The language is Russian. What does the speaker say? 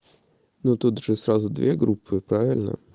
но тут же сразу две группы правильно